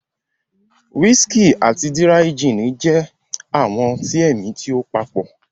Whiskey ati díráíjìnì jẹ awọn ọtí ẹmi ti o papo